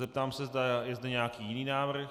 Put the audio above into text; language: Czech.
Zeptám se, zda je zde nějaký jiný návrh.